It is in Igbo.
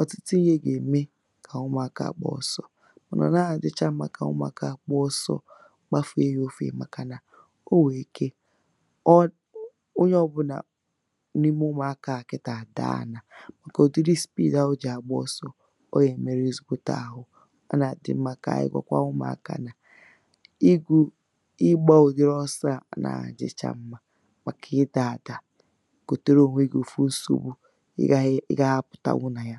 ọ̀tụtụ ihe ga-ème kà ụmụ̇akȧ à gba ọ̇sọ. Ị ma o naghi adicha nmȧ ka ụmụaka gbàa ọ̇sọ, gbafèe yà ọfie,̇ màkà nà o nwèrè ike, ọ, onye ọ bụ̇là n’ime ụmụ̀akȧ à kịtà àdaa ànà màkà òdiri speed ahu o jì à gba ọsọ, ̇ ọ yà èmeru ezigbote àhu. A nà àdị mmȧ kà ànyị gwọkwa ụmụ̀akȧ nà, igbù, ịgbȧ òdiri ọsọ̇ à nà àjịcha mmȧ, màkà ịdà àdà kòtere ònwe gị̇ òfu nsògbu ị gàghị, ị gàghị ȧpụ̀ta wu nà ya.